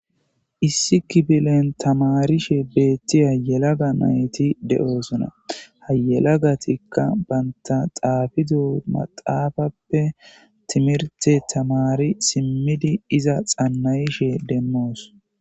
issi kifilen tamarishe beettiya yelaga nayti de7oosuna hayelagatikka baynta xaafido maxaafappe timirte tamari simmidi iza xannayishe demmoos